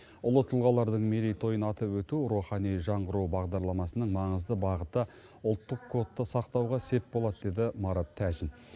ұлы тұлғалардың мерейтойын атап өту рухани жаңғыру бағдарламасының маңызды бағыты ұлттық кодты сақтауға сеп болады деді марат тәжин